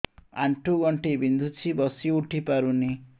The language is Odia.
ଆଣ୍ଠୁ ଗଣ୍ଠି ବିନ୍ଧୁଛି ବସିଉଠି ପାରୁନି